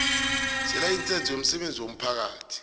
selayisense yomsebenzi womphakathi